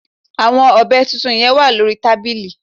Àwon ọ̀bẹ tuntun yen wà lórí tábìlì